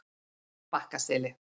Bakkaseli